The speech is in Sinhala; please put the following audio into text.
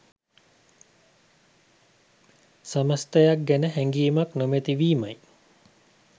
සමස්තයක් ගැන හැඟීමක් නොමැති වීමයි.